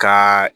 Ka